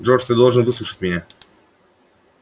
джордж ты должен выслушать меня